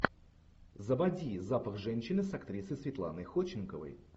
заводи запах женщины с актрисой светланой ходченковой